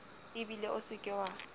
ebile o se ke wa